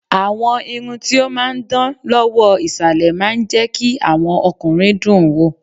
Àwọn irun ti ó máa ń dán lọ́wọ́ ìsàlẹ̀ máa ń jẹ́ kí àwọn ọkùnrin dùn ún wò.